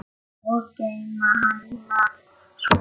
Og geyma hana svo.